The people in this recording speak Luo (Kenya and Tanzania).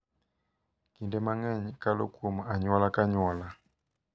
Kinde mang’eny, kalo kuom anyuola ka anyuola.